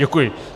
Děkuji.